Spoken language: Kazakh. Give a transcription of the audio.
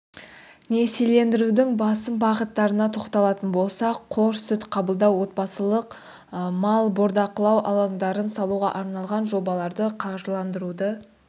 несиелендірудің басым бағыттарына тоқталатын болсақ қор сүт қабылдау отбасылық мал бордақылау алаңдарын салуға арналған жобаларды қаржыландыруды